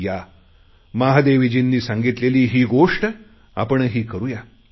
या महादेवीजींनी सांगितलेली ही गोष्ट आपणही करुया